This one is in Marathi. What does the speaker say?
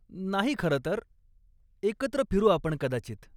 नाही खरं तर. एकत्र फिरू आपण कदाचित.